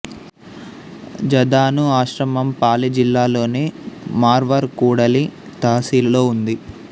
జదాను ఆశ్రమం పాలి జిల్లాలోని మార్వార్ కూడలి తహసీలులో ఉంది